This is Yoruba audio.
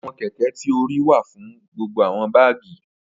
Awọn kẹ̀kẹ̀ ti o ríì wà fún gbogbo awọn bágì.